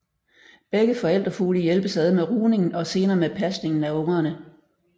Begge forældrefugle hjælpes ad med rugningen og senere med pasningen af ungerne